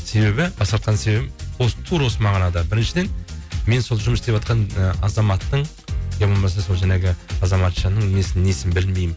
себебі басқартқан себебім осы тура осы мағынада біріншіден мен сол жұмыс істеватқан і азаматтың иә болмаса жаңағы азаматшаның несі несін білмеймін